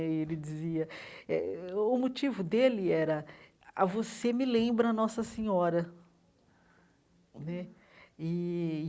Ele dizia... eh o motivo dele era... ah você me lembra a Nossa Senhora né e.